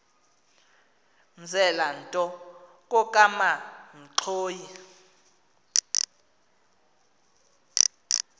mzela nto kokamanxhoyi